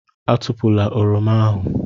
Atụpụla Oroma ahụ.